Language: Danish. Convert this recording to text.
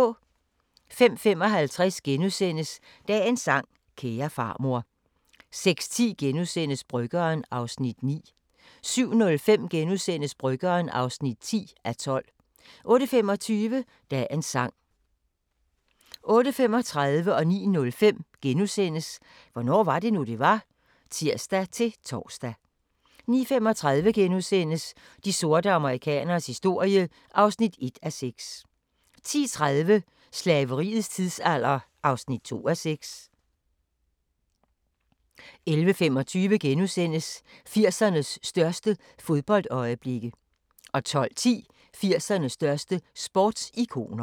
05:55: Dagens sang: Kære farmor * 06:10: Bryggeren (9:12)* 07:05: Bryggeren (10:12)* 08:25: Dagens sang 08:35: Hvornår var det nu, det var? *(tir-tor) 09:05: Hvornår var det nu, det var? *(tir-tor) 09:35: De sorte amerikaneres historie (1:6)* 10:30: Slaveriets tidsalder (2:6) 11:25: 80'ernes største fodboldøjeblikke * 12:10: 80'ernes største sportsikoner